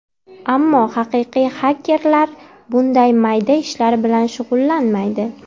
Ammo haqiqiy xakerlar bunday mayda ishlar bilan shug‘ullanmaydi.